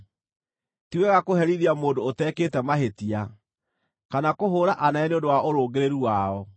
Ti wega kũherithia mũndũ ũtekĩte mahĩtia, kana kũhũũra anene nĩ ũndũ wa ũrũngĩrĩru wao.